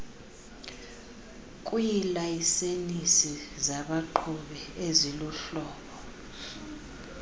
kwiilayisensi zabaqhubi eziluhlobo